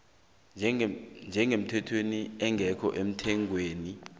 njengemithetjhwana engekho emthethweni